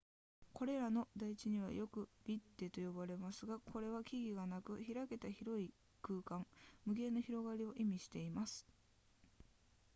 これらの台地はよくヴィッデと呼ばれますがこれは木々がなく開けた広い空間無限の広がりを意味しています